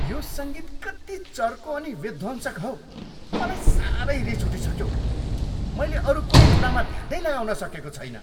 यो सङ्गीत कति चर्को अनि विध्वंसक हौ, मलाई साह्रै रिस उठिसक्यो। मैले अरू कुनै कुरामा ध्यान नै लगाउन सकेको छैन।